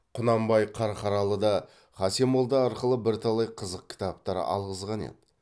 құнанбай қарқаралыда хасен молда арқылы бірталай қызық кітаптар алғызған еді